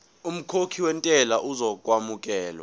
umkhokhi wentela uzokwamukelwa